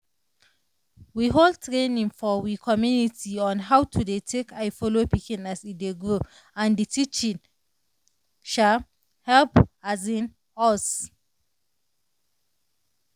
we hold training for we community on how to dey take eye follow pikin as e dey grow and the teaching um help um us.